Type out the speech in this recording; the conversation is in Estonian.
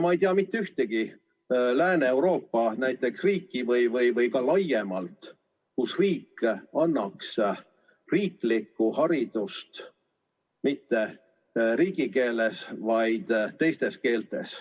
Ma ei tea mitte ühtegi riiki Lääne-Euroopas ega ka mujal, kus riik ei anna riiklikku haridust mitte riigikeeles, vaid mõnes teises keeltes.